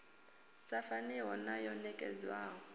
sa faniho na yo nekedzwaho